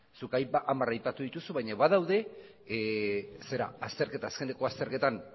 zuk hamar aipatu dituzu baina badaude azkeneko azterketan